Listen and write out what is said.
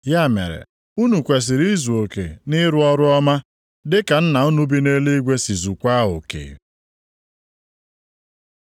Ya mere, unu kwesiri izuoke nʼịrụ ọrụ ọma, dịka Nna unu bi nʼeluigwe si zukwaa oke.